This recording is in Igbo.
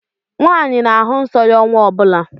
Nwaanyị na-ahụ nsọ ya ọnwa ọ bụla.